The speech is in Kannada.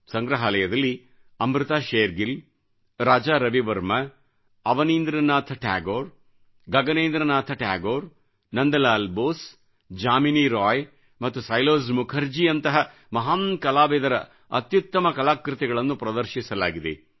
ಸಂಗ್ರಹಾಲಯದಲ್ಲಿ ಅಮೃತಾ ಶೇರ್ಗಿಲ್ ರಾಜಾ ರವಿವರ್ಮಾ ಅವನೀಂದ್ರ ನಾಥ್ ಠಾಗೋರ್ ಗಗನೇಂದ್ರ ನಾಥ್ ಠಾಗೋರ್ ನಂದಲಾಲ್ ಬೋಸ್ಜಾಮಿನಿ ರಾಯ್ ಮತ್ತು ಸೈಲೋಜ್ ಮುಖರ್ಜಿಯವರಂತಹ ಮಹಾನ್ ಕಲಾವಿದರ ಅತ್ಯುತ್ತಮ ಕಲಾಕೃತಿಗಳನ್ನು ಪ್ರದರ್ಶಿಸಲಾಗಿದೆ